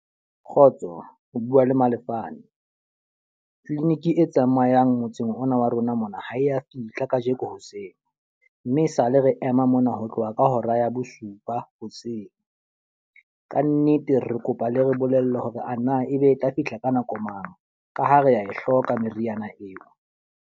Kgotso, o bua le Malefane. Clinic e tsamayang motseng ona wa rona mona ha e ya fihla ka jeko hoseng. Mme e sa le re ema mona ho tloha ba ka hora ya bosupa hoseng. Ka nnete re kopa le re bolelle hore ana e be e tla fihla ka nako mang, ka ha re a e hloka meriana eo.